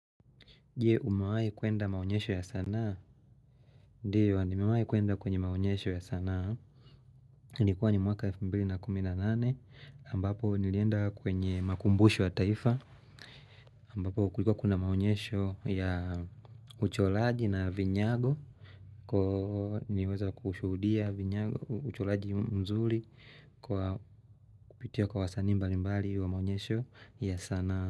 Je, umewahi kuenda maonyesho ya sanaa? Ndiyo, nimewahi kuenda kwenye maonyesho ya sanaa. Ilikuwa ni mwaka elfu mbili na kumi na nane, ambapo nilienda kwenye makumbusho ya taifa, ambapo kulikuwa kuna maonyesho ya ucholaji na vinyago. Kwa nimeweza kushuhudia uchoraji mzuri kwa kupitia kwa wasani mbali mbali wa maonyesho ya sanaa.